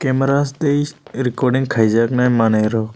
brush tai recording khaijaknai manei rok.